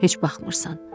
Heç baxmırsan.